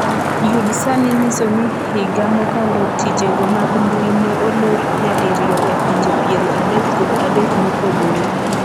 yud sani nyiso ni higa mokalo tijego mag mbui ne olor nyadiriyo e pinje piero adek kod adek mopogore